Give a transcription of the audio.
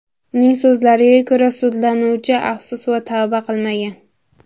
Uning so‘zlariga ko‘ra, sudlanuvchi afsus va tavba qilmagan.